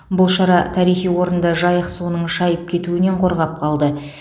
бұл шара тарихи орынды жайық суының шайып кетуінен қорғап қалды